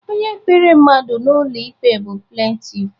Onye kpere mmadụ n'ụlọ ikpe bụ plentif.